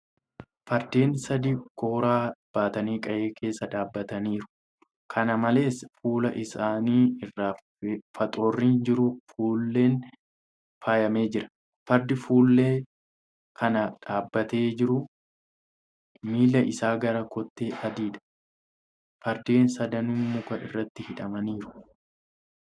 Fardeen sadii kooraa baatanii qe'ee keessa dhaabbataniiru. Kana malees, fuula isaanii irra faxoorri jiru kuulan faayame jira. Fardi fuullee kana dhaabbatee jiru miilli isaa gara kottee adiidha. Fardeen sadanuu muka irratti hidhamaniiru.